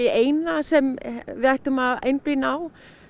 eina sem við ættum að einblína á